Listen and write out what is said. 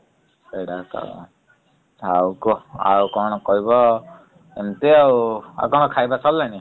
ସେଗଡାକ ଆଉ କଣ ଆଉ କଣ କଇବ ଏମିତି ଆଉ ଆଉ ତମ ଖାଇବା ସରିଲାଣି ?